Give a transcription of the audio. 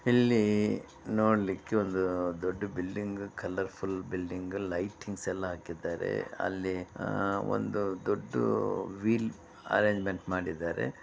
ಇಲ್ಲಿ ನೋಡ್ಲಿಕ್ಕೆ ಒಂದು ದೊಡ್ದು building colour full building lightings ಎಲ್ಲಾ ಹಾಕಿದ್ದಾರೆ ಅಲ್ಲಿ ಆ ಒಂದು ದೊಡ್ಡು ವೀಲ್ ಅರೆಂಜ್ಮೆಂಟ್ ಮಾಡಿದ್ದಾರೆ.